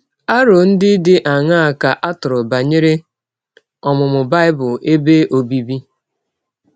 Arọ ndị dị aṅaa ka a tụrụ banyere ọmụmụ Bible ebe ọbịbị?